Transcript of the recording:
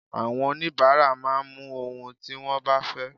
Àwọn onibaara máa mú ohun tí wón bá fẹ́.